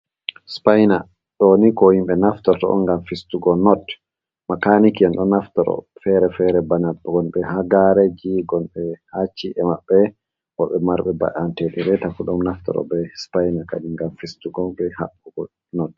Spaina ɗoni ko himɓe naftorto on ngam fistugo not, makaniki en ɗo naftato fere-fere bana gon ɓe hagareji, gon ɓe hacci e maɓɓe woɓɓe marɓe baantedireta fu ɗum naftoro be spaina kadi gam fistugo be haɓɓugo not.